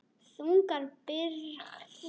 Þungar byrðar.